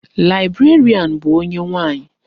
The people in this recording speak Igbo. Librarian bụ onye nwaanyi.